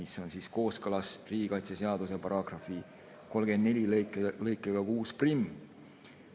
See on kooskõlas riigikaitseseaduse § 34 lõikega 61.